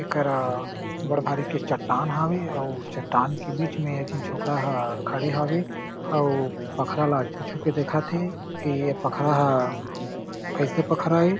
एकरा बड़ भारी के चट्टान हावे अउ चट्टान के बिच में एक झीन छोकरा ह खड़े हावे अउ पखरा ला छू-छू के देखत हे की ए पखरा ह कईसे पखरा हे।